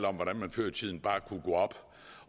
om hvordan man før i tiden bare kunne gå op